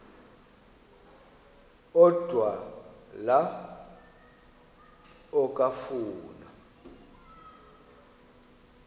odwa la okafuna